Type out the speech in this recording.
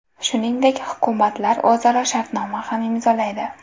Shuningdek, hukumatlar o‘zaro shartnoma ham imzolaydi.